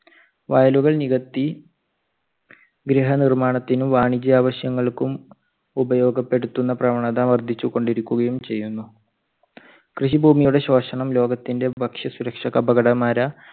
വയലുകൾ നികത്തി ഗ്രഹനിർമ്മാണത്തിനും, വാണിജ്യആവശ്യങ്ങൾക്കും ഉപയോഗപ്പെടുത്തുന്ന പ്രവണത വർദ്ധിച്ചുകൊണ്ട് ഇരിക്കുകയും ചെയ്യുന്നു. കൃഷിഭൂമിയുടെ ശോഷണം ലോകത്തിന്റെ ഭക്ഷ്യ സുരക്ഷയ്ക്ക് അപകടമര